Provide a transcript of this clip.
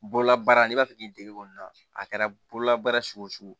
Bololabaara n'i b'a fɛ k'i dege kɔni na a kɛra bololabaara sugu o sugu